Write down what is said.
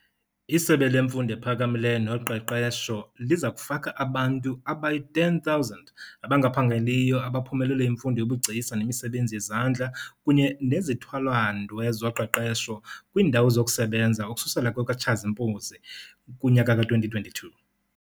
ISebe leMfundo ePhakamileyo noQeqesho liza kufaka abantu abangayi-10 000 abangaphangeliyo abaphumelele imfundo yobugcisa nemisebenzi yezandla kunye nezithwalandwe zoqeqesho kwiindawo zokusebenza ukususela kwekaTshazimpuzi kunyaka ka2022.